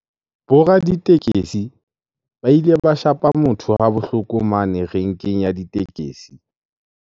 Bo raditekesi ba ile ba shapa motho ha bohloko mane renkeng ya ditekesi.